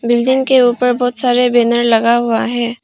Building के ऊपर बहुत सारे बैनर लगा हुआ है।